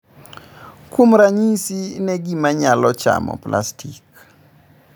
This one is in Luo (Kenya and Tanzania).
"Kuom ranyisi ne gima nyalo chamo plastic."